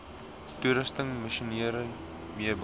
toerusting masjinerie meubels